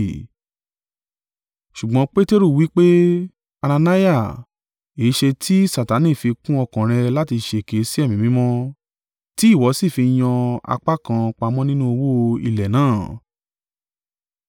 Ṣùgbọ́n Peteru wí pé, “Anania, èéṣe ti Satani fi kún ọkàn rẹ láti ṣèké sí Ẹ̀mí Mímọ́, tí ìwọ sì fi yan apá kan pamọ́ nínú owó ilẹ̀ náà?